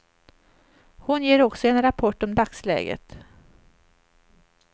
Hon ger också en rapport om dagsläget.